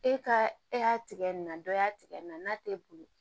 E ka e y'a tigɛ nin na dɔ y'a tigɛ nin na t'e bolo